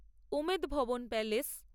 Umed Bhawan palace